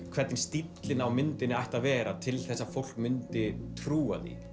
hvernig stíllinn á myndinni ætti að vera til að fólk myndi trúa því